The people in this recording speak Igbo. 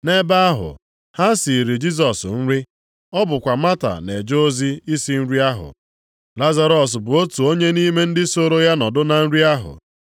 Nʼebe ahụ, ha siiri Jisọs nri, ọ bụkwa Mata na-eje ozi isi nri ahụ, Lazarọs bụ otu onye nʼime ndị sooro ya nọdụ na nri ahụ.